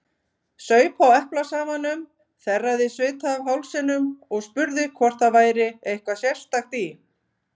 Saup á eplasafanum, þerraði svita af hálsinum og spurði hvort það væri eitthvað sérstakt í